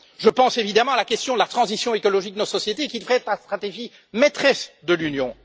Je pense évidemment à la question de la transition écologique de nos sociétés qui devrait être la stratégie maîtresse de l'Union.